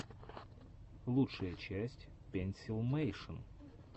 лучшая часть пенсилмэйшен